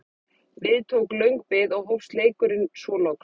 Við tók löng bið og hófst leikurinn svo loks.